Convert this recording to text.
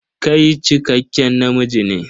Kai cikakken namiji ne?